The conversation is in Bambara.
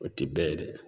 O ti bɛɛ ye dɛ